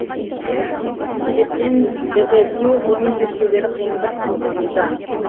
осы себептен дежавю ғылыми зерттеулері қиындық туғызуда